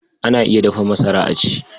Ana iya dafa masara a ci.